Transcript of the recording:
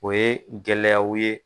O ye gɛlɛyayaw ye.